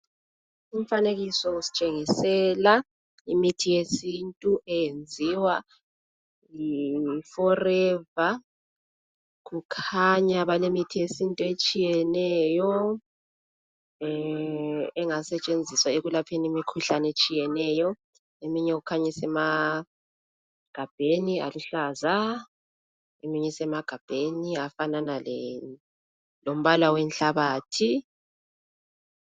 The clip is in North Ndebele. Umfanekiso usitshengisela imithi yesintu eyenziwa yiForever. Kukhanya balemithi yesintu entshiyeneyo engasetshenziswa ekulapheni imikhuhlane etshiyeneyo. Eminye kukhanya isemagabheni aluhlaza eminye esemagabheni afana lombala wenhlabathi.